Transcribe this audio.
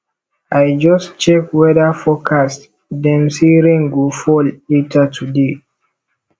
i just check weather forecast dem say rain go fall later today